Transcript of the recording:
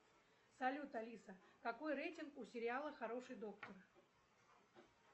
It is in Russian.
салют алиса какой рейтинг у сериала хороший доктор